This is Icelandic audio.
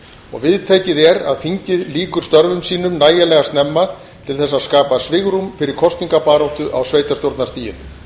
og viðtekið er að þingið lýkur störfum sínum nægilega snemma til þess að skapa svigrúm fyrir kosningabaráttu á sveitarstjórnarstiginu